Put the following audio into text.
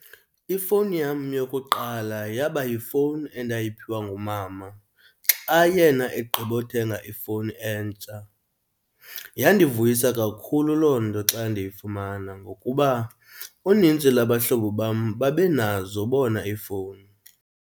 Ifowuni yam yokuqala yaba yifowuni endayiphiwa ngumama xa yena egqiba uthenga ifowuni entsha. Yandivuyisa kakhulu loo nto xa ndiyifumana ngokuba unintsi lwabahlobo bam babe nazo bona iifowuni.